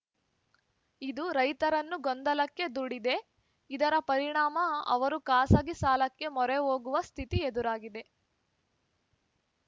ಇದು ರೈತರನ್ನು ಗೊಂದಲಕ್ಕೆ ದೂಡಿದೆ ಇದರ ಪರಿಣಾಮ ಅವರು ಖಾಸಗಿ ಸಾಲಕ್ಕೆ ಮೊರೆ ಹೋಗುವ ಸ್ಥಿತಿ ಎದುರಾಗಿದೆ